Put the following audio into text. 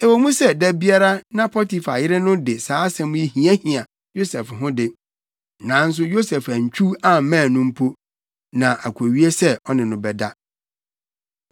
Ɛwɔ mu sɛ da biara na Potifar yere no de saa asɛm yi hiahia Yosef ho de, nanso Yosef antwiw ammɛn no mpo, na akowie sɛ ɔne no bɛda.